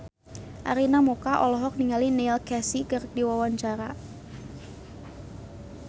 Arina Mocca olohok ningali Neil Casey keur diwawancara